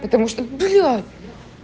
потому что бля